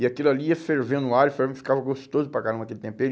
E aquilo ali ia fervendo o alho, ferve, ficava gostoso para caramba aquele tempero.